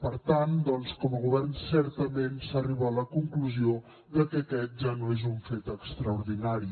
per tant doncs com a govern certament s’arriba a la conclusió de que aquest ja no és un fet extraordinari